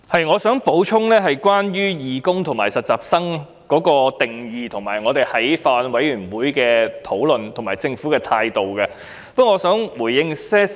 我想就"義工"和"實習人員"的定義、法案委員會的討論，以及政府的態度這些方面作補充。